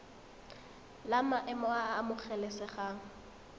la maemo a a amogelesegang